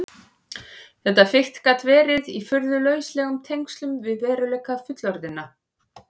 Þetta fikt gat verið í furðu lauslegum tengslum við veruleika fullorðinna.